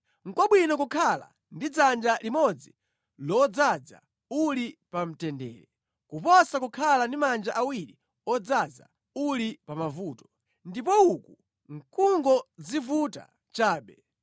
Nʼkwabwino kukhala ndi dzanja limodzi lodzaza uli pa mtendere, kuposa kukhala ndi manja awiri odzaza uli pa mavuto, ndipo uku nʼkungodzivuta chabe.